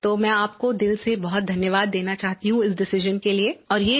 तो मैं आपको दिल से बहुत धन्यवाद देना चाहती हूँ इस डिसाइजन के लिये